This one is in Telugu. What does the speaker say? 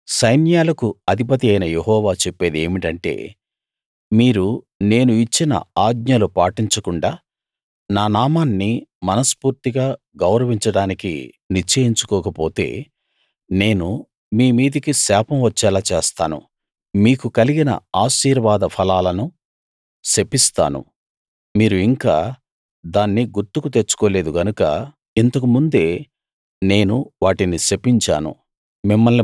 సైన్యాలకు అధిపతియైన యెహోవా చెప్పేది ఏమిటంటే మీరు నేను ఇచ్చిన ఆజ్ఞలు పాటించకుండా నా నామాన్ని మనస్ఫూర్తిగా గౌరవించడానికి నిశ్చయించుకోకపోతే నేను మీ మీదికి శాపం వచ్చేలా చేస్తాను మీకు కలిగిన ఆశీర్వాద ఫలాలను శపిస్తాను మీరు ఇంకా దాన్ని గుర్తుకు తెచ్చుకోలేదు గనుక ఇంతకుముందే నేను వాటిని శపించాను